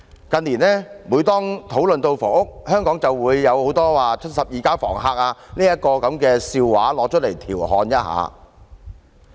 近年，每當討論房屋問題時，大家便會說出香港許多"七十二家房客"的笑話來調侃一下。